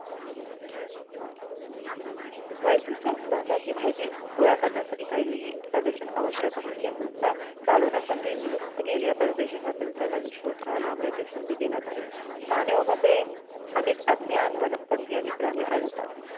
वैशिष्ट्ये अन संस्थांची माहिती गोळा करण्यासाठी काही solution आवश्यक आहे त्या संस्था चालवण्यासाठी नियुक्त केलेल्या परदेशी शास्त्रांचा नवीन शोध हा लांबण्याची संधी देण्यात आली पाहण्यामध्ये अनेक अज्ञान वनस्पति आणि प्राणी अडकतात.